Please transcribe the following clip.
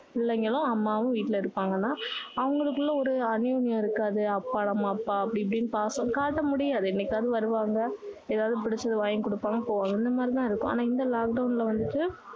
பிள்ளைங்களும் அம்மாவும் வீட்டுல இருப்பாங்கன்னா அவங்களுக்குள்ள ஒரு அன்னோனியம் இருக்காது அப்பா நம்ம அப்பா அப்படி இப்படின்னு ஒரு பாசம் காட்ட முடியாது என்னைக்காவது வருவாங்க ஏதாவது புடிச்சது வாங்கி கொடுப்பாங்க போவாங்க அந்த மாதிரி தான் இருக்கும் ஆனா இந்த lockdown ல வந்துட்டு